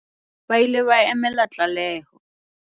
ba ile ba emela tlaleho